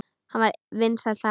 Hann var vinsæll þar.